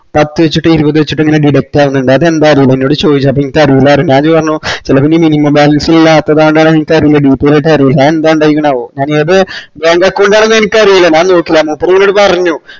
പത്ത് വെച്ചിറ്റ് ഇരുപത് വെച്ചിറ്റിങ്ങനെ debt ആവിന്നിണ്ട് അതെന്താറീല്ല എന്നോട് ചോയ്ച്ചു അപ്പോനിക്കറീല്ലപറഞ്ഞു ഞാനിപറഞ്ഞു ചെലപ്പൊനി minimum balance ല്ലാത്തത്കൊണ്ടാണോന്നറീല്ലല്ലോ അത് എന്ത് കൊണ്ടായിരിക്കണോ